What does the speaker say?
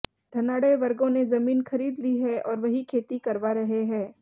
धनाढ्य वर्गों ने जमीन खरीद ली है और वही खेती करवा रहे हैं